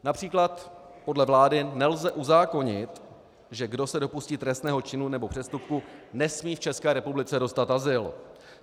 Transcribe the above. Například podle vlády nelze uzákonit, že kdo se dopustí trestného činu nebo přestupku, nesmí v České republice dostat azyl.